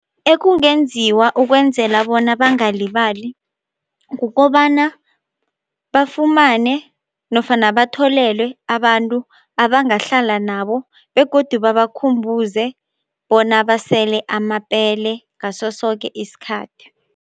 Ekungenziwa ukwenzela bona bangalibali kukobana bafumane nofana batholelwe abantu abangahlala nabo begodu babakhumbuze bona basele amapele ngaso soke isikhathi.